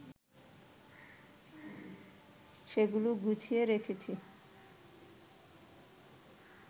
সেগুলো গুছিয়ে রেখেছি